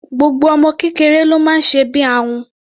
Gbogbo ọmọ kékeré ló máa ń sẹbí ahun.